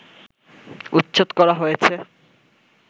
উচ্ছেদ করা হয়েছে